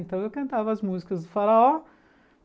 Então eu cantava as músicas do faraó.